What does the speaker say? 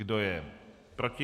Kdo je proti?